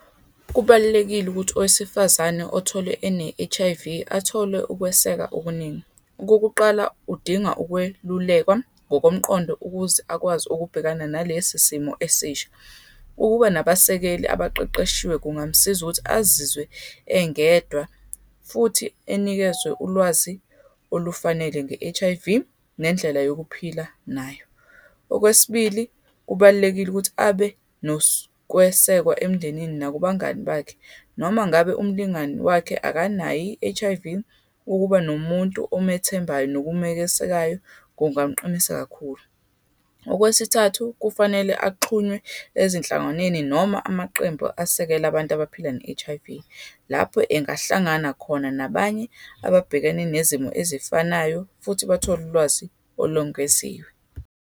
Kubalulekile ukuthi owesifazane otholwe ene-H_I_V, athole ukweseka okuningi. Okokuqala, udinga ukwelulekwa ngokomqondo ukuze akwazi ukubhekana nalesi simo esisha. Ukuba nabasekeli abaqeqeshiwe kungamsiza ukuthi azizwe engedwa, futhi enikezwe ulwazi olufanele nge-H_I_V nendlela yokuphila nayo. Okwesibili, kubalulekile ukuthi abe nokwesekwa emndenini nakubangani bakhe, noma ngabe umlingani wakhe akanayo i-H_I_V. Ukuba nomuntu omethembayo nokumekesekayo, kungamqinisa kakhulu. Okwesithathu, kufanele axhunywe ezinhlanganweni, noma amaqembu asekela abantu abaphila ne-H_I_V, lapho engahlangana khona nabanye ababhekene nezimo ezifanayo, futhi bathole ulwazi olongeziwe.